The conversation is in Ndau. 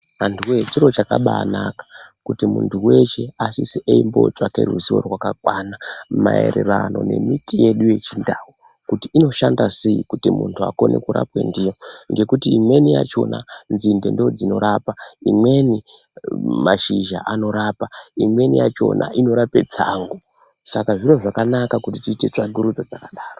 Andu wee chiro chakambai naka kuti mundu weshe asise eyimbotsvake ruzivo rakakwana maererano nemiti yedu yechiNdau kuti inoshanda sei kuti mundu akone kurapwa ndiyo ngekuti imweni yachona nzinde ndodzinorapa imweni mashizha anorapa imweni yachona inorape tsango saka zviro zvakanaka kuti tiite tsvakurudzo dzakadaro.